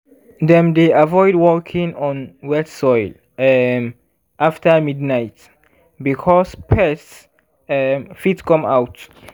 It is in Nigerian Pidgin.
dem dey avoid walking on wet soil um after midnight because pests um fit come out.